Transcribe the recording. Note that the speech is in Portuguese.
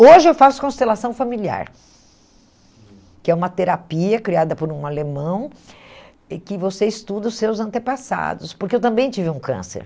Hoje eu faço constelação familiar, que é uma terapia criada por um alemão e que você estuda os seus antepassados, porque eu também tive um câncer.